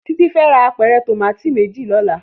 Titi fè rá ápèrè tómàtó méjí lòlá